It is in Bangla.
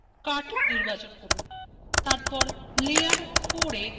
তারপর layer four layer এ click করুন এবং paste করুন